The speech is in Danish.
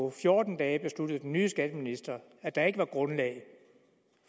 af fjorten dage besluttede den nye skatteminister at der ikke var grundlag